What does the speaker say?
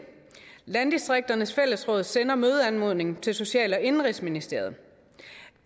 landdistrikternes fællesråd sender mødeanmodning til social og indenrigsministeriet den